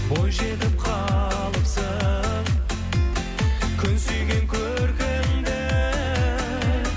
бой жетіп қалыпсың күн сүйген көркіңді